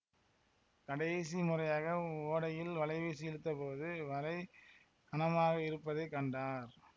கடைசி முறையாக ஓடையில் வலைவீசி இழுத்த போது வலை கனமாக இருப்பதை கண்டார்